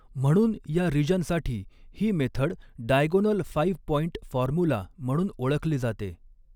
म्हणून या रीज़नसाठी ही method diagonal five point formula म्हणून ओळखली जाते.